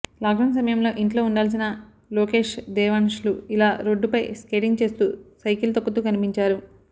lockdown సమయంలో ఇంట్లో ఉండాల్సిన లోకేష్ దేవాన్ష్లు ఇలా రోడ్డుపై స్కేటింగ్ చేస్తూ సైకిల్ తొక్కుతూ కనిపించారు